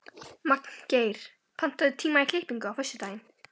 Magngeir, pantaðu tíma í klippingu á föstudaginn.